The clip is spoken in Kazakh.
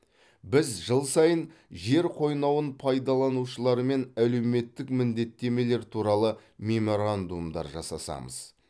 біз жыл сайын жер қойнауын пайдаланушылармен әлеуметтік міндеттемелер туралы меморандумдар жасасамыз